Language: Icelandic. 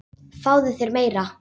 Fáðu þér meira!